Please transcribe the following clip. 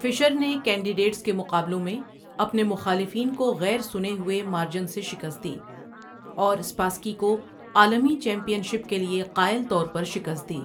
فشر نے کینڈیڈیٹس کے مقابلوں میں اپنے مخالفین کو غیر سنے ہوئے مارجن سے شکست دی اور اسپاسکی کو عالمی چیمپئن شپ کے لیے قائل طور پر شکست دی۔